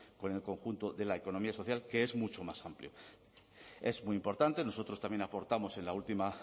con el conjunto de la economía social que es mucho más amplio es muy importante nosotros también aportamos en la última